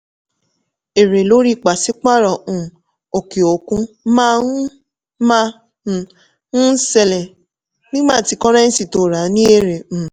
èrè lórí pàṣípàrọ̀ um òkè òkun máa um ń ṣẹlẹ̀ nígbà tí kọ́rẹ́nńsì tó rà ní èrè. um